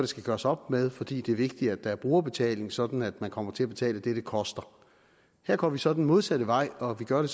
skal gøres op med fordi det er vigtigt at der er brugerbetaling sådan at man kommer til at betale det det koster her går vi så den modsatte vej og vi gør det